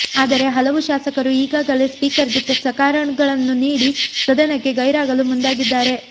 ಆದರೆ ಹಲವು ಶಾಸಕರು ಈಗಾಗಲೇ ಸ್ಪೀಕರ್ಗೆ ಸಕಾರಣಗಳನ್ನು ನೀಡಿ ಸದನಕ್ಕೆ ಗೈರಾಗಲು ಮುಂದಾಗಿದ್ದಾರೆ